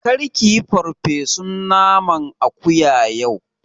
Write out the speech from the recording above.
Kar kiyi farfesun naman akuya yau!